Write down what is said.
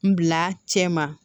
N bila cɛ ma